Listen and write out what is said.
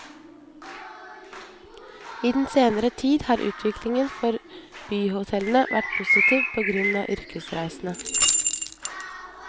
I den senere tid har utviklingen for byhotellene vært positiv på grunn av yrkesreisene.